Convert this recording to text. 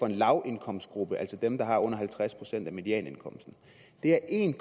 en lavindkomstgruppe altså dem der har under halvtreds procent af medianindkomsten det er en